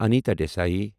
Anita Desai